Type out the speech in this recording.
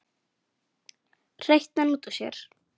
hreytti hann út úr sér.